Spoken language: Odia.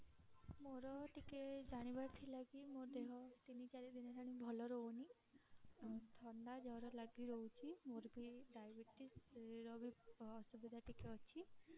ମୋର ଟିକେ ଜାଣିବାର ଥିଲା କି ମୋ ଦେହ ତିନି ଚାରି ଦିନ ହେଲାଣି ଭଲ ରହୁନି ଥଣ୍ଡା ଜର ଲାଗି ରହୁଛି ମୋର ବି diabetes ର ବି ଅସୁବିଧା ଟିକେ ଅଛି